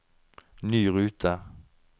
ny rute